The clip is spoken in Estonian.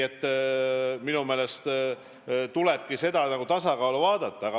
Minu meelest tuleb püüda hoida tasakaalu.